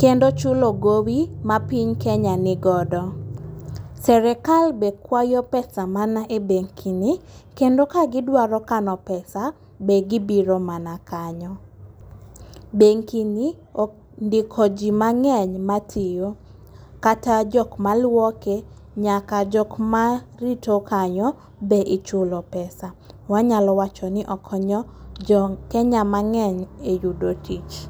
Kendo chulo gowi ma piny Kenya nigodo. Serikal be kwayo pesa mana e bengini, kendo ka gidwaro kano pesa ,be gibiro mana kanyo. Bengini ondiko ji mang'eny matiyo kata jok maluoke ,nyaka jok marito kanyo be ichulo pesa. Wanyalo wacho ni okonyo jokenya mang'eny e yudo tich.